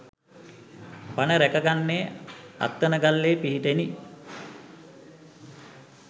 පණ රැක ගත්තේ අත්තනගල්ලේ පිහිටෙනි.